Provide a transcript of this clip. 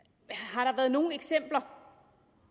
har der været nogen eksempler